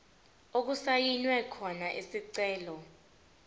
okusayinwe khona isicelo